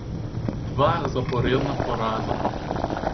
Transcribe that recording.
Dva zaporedna poraza.